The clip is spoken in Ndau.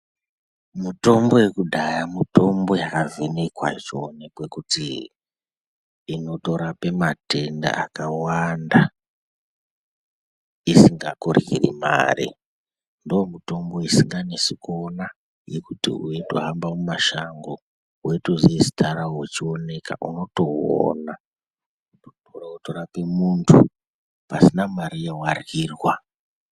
Mutombo yekudhaya mitombo yakavhenekwa yochoonekwe kuti inotorapa matenda akawanda isingakuryiri mare ndomutombo isikanesi kuona yekuti weitohamba mumashango weitoziya zita rawo wechioneka unotouona unotorape muntu pasina mare yawaryirwa